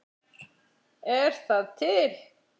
Er það til?